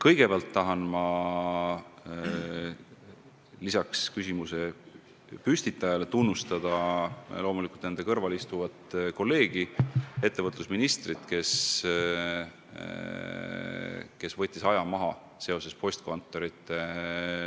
Aga ma tahan lisaks küsimuse püstitajale tunnustada enda kõrval istuvat kolleegi ettevõtlusministrit, kes postkontorite sulgemisel aja maha võttis.